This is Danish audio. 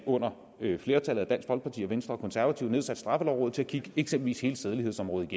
med et flertal bestående af dansk folkeparti venstre konservative satte straffelovrådet til at kigge eksempelvis sædelighedsområdet